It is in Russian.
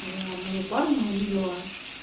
я одного парня увидела